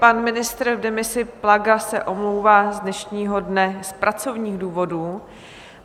Pan ministr v demisi Plaga se omlouvá z dnešního dne z pracovních důvodů.